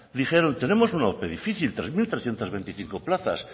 dijeron tenemos una ope difícil tres mil trescientos veinticinco plazas